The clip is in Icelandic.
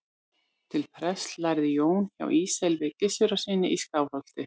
til prests lærði jón hjá ísleifi gissurarsyni í skálholti